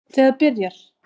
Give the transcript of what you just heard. Ég fór þá leið líka.